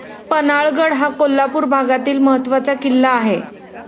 पन्हाळागड हा कोल्हापूर भागातील महत्वाचा किल्ला आहे.